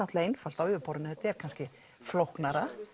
einfalt á yfirborðinu þetta er kannski flóknara